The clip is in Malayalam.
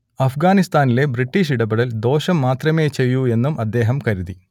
അഫ്ഗാനിസ്താനിലെ ബ്രിട്ടീഷ് ഇടപെടൽ ദോഷം മാത്രമേ ചെയ്യൂ എന്നും അദ്ദേഹം കരുതി